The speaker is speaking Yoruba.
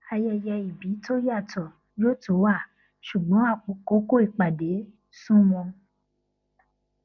ayẹyẹ ìbí tó yàtọ yó tú wá ṣùgbọn àkókò ìpàdé sunmọ